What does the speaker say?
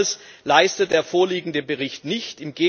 Dies alles leistet der vorliegende Bericht nicht.